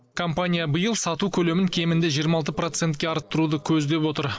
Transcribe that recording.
компания биыл сату көлемін кемінде жиырма алты процентке арттыруды көздеп отыр